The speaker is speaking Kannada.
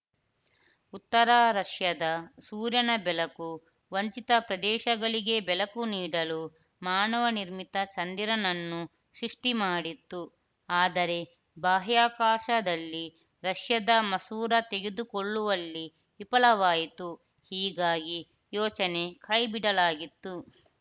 ಉತ್ತರ ರಷ್ಯಾದ ಸೂರ್ಯನ ಬೆಳಕು ವಂಚಿತ ಪ್ರದೇಶಗಳಿಗೆ ಬೆಳಕು ನೀಡಲು ಮಾನವನಿರ್ಮಿತ ಚಂದಿರನನ್ನು ಸೃಷ್ಟಿಮಾಡಿತ್ತು ಆದರೆ ಬಾಹ್ಯಾಕಾಶದಲ್ಲಿ ರಷ್ಯಾದ ಮಸೂರ ತೆರೆದುಕೊಳ್ಳುವಲ್ಲಿ ವಿಫಲವಾಯಿತು ಹೀಗಾಗಿ ಯೋಜನೆ ಕೈಬಿಡಲಾಗಿತ್ತು